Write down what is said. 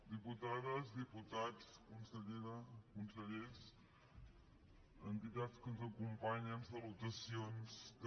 diputades diputats consellera consellers entitats que ens acompanyen salutacions també